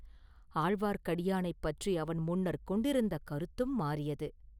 ஆழ்வார்க்கடியானைப் பற்றி அவன் முன்னர் கொண்டிருந்த கருத்தும் மாறியது.